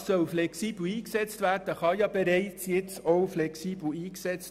Diese Hilfen sollen flexibel eingesetzt werden, was bereits jetzt der Fall ist.